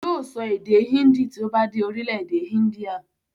Yóò sọ èdè índì tí ó bá dé orílẹ̀-èdè índíà.